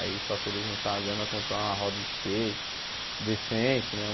Aí para poder juntar a grana, comprar uma roda de skate decente, né?